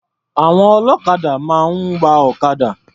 Àwọn ọlọ́kadà máa ń wa ọ̀kadà.